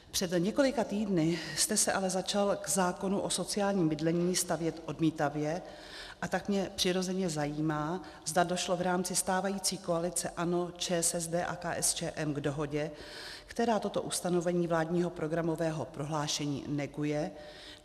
Před několika týdny jste se ale začal k zákonu o sociálním bydlení stavět odmítavě, a tak mě přirozeně zajímá, zda došlo v rámci stávající koalice ANO, ČSSD a KSČM k dohodě, která toto ustanovení vládního programového prohlášení neguje.